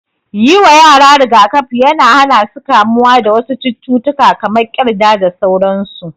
Yi wa yara rigakafi yana hana su kamuwa da wasu cututtuka kamar ƙyanda da sauransu.